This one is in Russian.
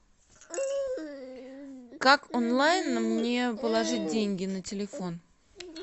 как онлайн мне положить деньги на телефон